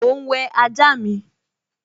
Mò ún wẹ ajá mi